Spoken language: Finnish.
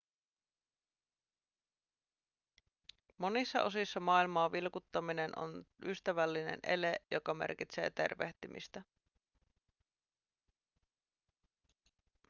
monissa osissa maailmaa vilkuttaminen on ystävällinen ele joka merkitsee tervehtimistä